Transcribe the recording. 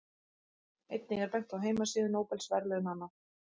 Einnig er bent á heimasíðu Nóbelsverðlaunanna.